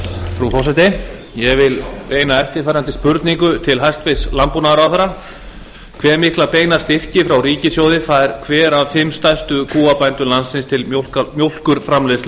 frú forseti ég vil beina eftirfarandi spurningu til hæstvirts landbúnaðarráðherra hve mikla beina styrki frá ríkissjóði fær hver af fimm stærstu kúabændum landsins til mjólkurframleiðslu